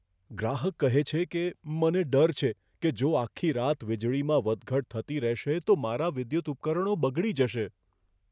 ગ્રાહક કહે છે કે, મને ડર છે કે જો આખી રાત વીજળીમાં વધઘટ થતી રહેશે તો મારા વિદ્યુત ઉપકરણો બગડી જશે.